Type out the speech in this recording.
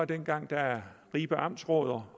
dengang da ribe amtsråd og